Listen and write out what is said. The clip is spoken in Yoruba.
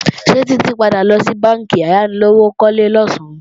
Ṣé Títí padà lọ sí bánkì ayánilówókọ́lé losan?